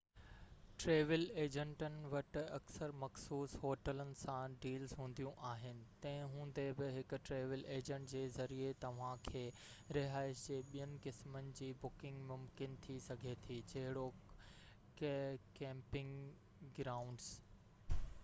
travel ايجنٽن وٽ اڪثر مخصوص هوٽلن سان ڊيلز هونديون آهن تنهن هوندي بہ هڪ ٽريول ايجنٽ جي ذريعي توهان کي رهائش جي ٻين قسمن جي بڪنگ ممڪن ٿي سگهي ٿي جهڙوڪ ڪيمپنگ گرائونڊز